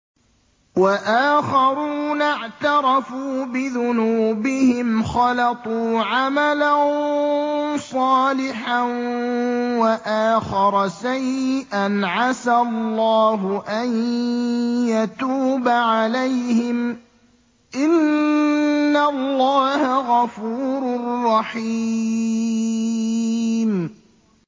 وَآخَرُونَ اعْتَرَفُوا بِذُنُوبِهِمْ خَلَطُوا عَمَلًا صَالِحًا وَآخَرَ سَيِّئًا عَسَى اللَّهُ أَن يَتُوبَ عَلَيْهِمْ ۚ إِنَّ اللَّهَ غَفُورٌ رَّحِيمٌ